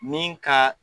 Min ka